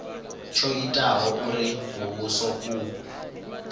tsho itaho uri muvhuso u